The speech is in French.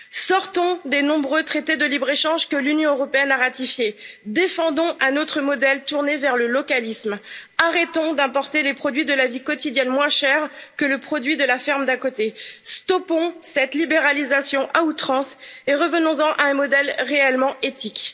Sortons des nombreux traités de libre échange que l'Union européenne a ratifiés, défendons un autre modèle tourné vers le localisme, arrêtons d'importer les produits de la vie quotidienne moins chers que le produit de la ferme d'à côté, stoppons cette libéralisation à outrance et revenons en à un modèle réellement éthique.